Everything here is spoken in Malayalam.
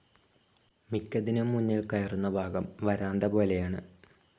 മിക്കതിനും മുന്നിൽ കയറുന്ന ഭാഗം വരാന്തപോലെയാണ്.